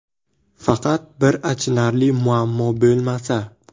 Faqat bir achinarli muammo bo‘lmasa.